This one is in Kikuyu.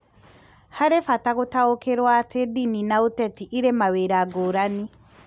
Harĩ bata gũtaũkĩrwo atĩ ndini na ũteti ĩrĩ mawĩra ngũrani